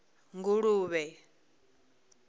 nguluvhe